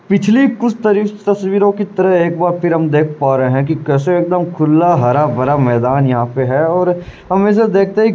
पिछली कुछ तरी तस्वीरों की तरह एक बार फिर हम देख पा रहे हैं कि कैसे एक दम खुला हरा भरा मैदान यहाँ पे है और हमेशा देखते है --